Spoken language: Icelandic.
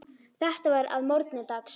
Þetta var að morgni dags.